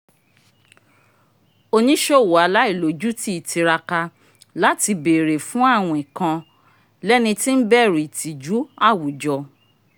oniṣowo aláìlójutì tíráká láti béèrè fun awìn kàn lẹni tí n bẹru itiju àwùjọ